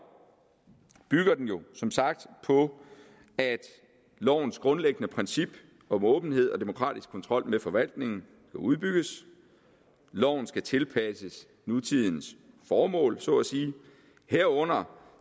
bygger den jo som sagt på at lovens grundlæggende princip om åbenhed og demokratisk kontrol med forvaltningen udbygges loven skal tilpasses nutidens formål herunder